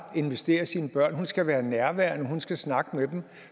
investere i sine børn hun skal være nærværende og hun skal snakke med dem